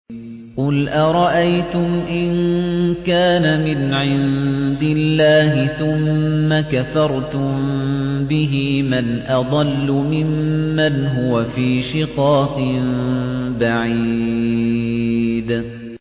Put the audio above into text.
قُلْ أَرَأَيْتُمْ إِن كَانَ مِنْ عِندِ اللَّهِ ثُمَّ كَفَرْتُم بِهِ مَنْ أَضَلُّ مِمَّنْ هُوَ فِي شِقَاقٍ بَعِيدٍ